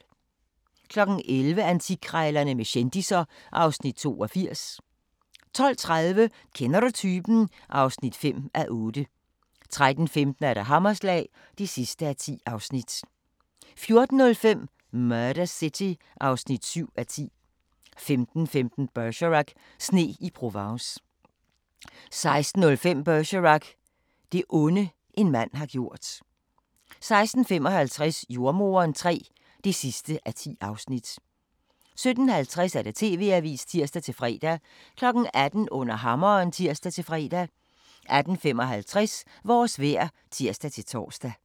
11:00: Antikkrejlerne med kendisser (Afs. 82) 12:30: Kender du typen? (5:8) 13:15: Hammerslag (10:10) 14:05: Murder City (7:10) 15:15: Bergerac: Sne i Provence 16:05: Bergerac: Det onde, en mand har gjort 16:55: Jordemoderen III (10:10) 17:50: TV-avisen (tir-fre) 18:00: Under hammeren (tir-fre) 18:55: Vores vejr (tir-tor)